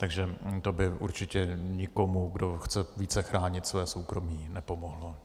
Takže to by určitě nikomu, kdo chce více chránit svoje soukromí, nepomohlo.